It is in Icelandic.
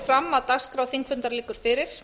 fram að dagskrá þingfundar liggur fyrir